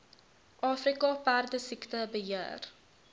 afrika perdesiekte beheer